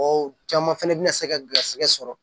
Ɔ caman fɛnɛ bina se ka garisɛgɛ sɔrɔ